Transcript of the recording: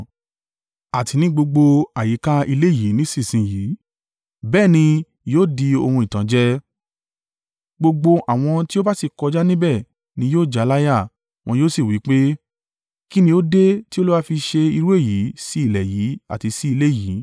àti ní gbogbo àyíká ilé yìí nísinsin yìí, bẹ́ẹ̀ ni yóò di ohun ìtànjẹ; gbogbo àwọn tí ó bá sì kọjá níbẹ̀ ni yóò jáláyà, wọn yóò sì wí pé, ‘Kí ni ó dé tí Olúwa fì ṣe irú èyí sí ilẹ̀ yí àti sí ilé yìí?’